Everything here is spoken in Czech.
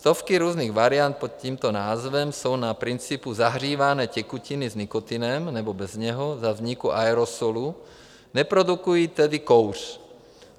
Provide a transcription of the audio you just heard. Stovky různých variant pod tímto názvem jsou na principu zahřívané tekutiny s nikotinem, nebo bez něho, za vzniku aerosolu, neprodukují tedy kouř.